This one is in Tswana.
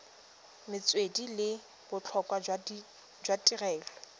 metswedi le botlhokwa jwa tirelo